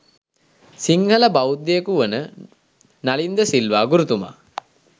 සිංහල බෞද්ධයකු වන නලින් ද සිල්වා ගුරුතුමා